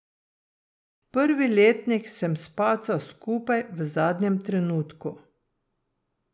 Prvi letnik sem spacal skupaj v zadnjem trenutku.